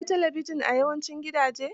Most homes have television devises.